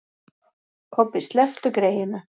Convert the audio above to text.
Kobbi, slepptu greyinu.